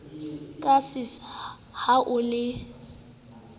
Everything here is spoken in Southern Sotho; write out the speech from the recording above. ka sesa ha o le